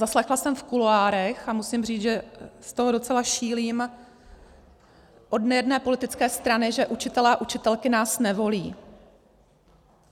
Zaslechla jsem v kuloárech, a musím říci, že z toho docela šílím, od jedné politické strany, že učitelé a učitelky nás nevolí.